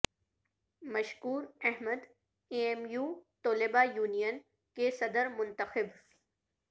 مشکور Ahmad A M U طلبہ union کے صدر منتخب